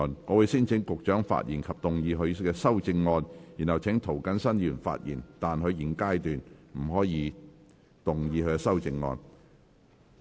我會先請局長發言及動議他的修正案，然後請涂謹申議員發言，但他在現階段不可動議修正案。